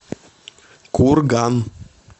курган